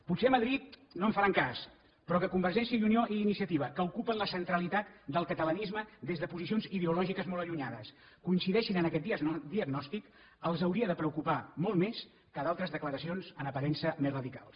potser a madrid no en faran cas però que convergència i unió i iniciativa que ocupen la centralitat del catalanisme des de posicions ideològiques molt allunyades coincideixin en aquest diagnòstic els hauria de preocupar molt més que d’altres declaracions en aparença més radicals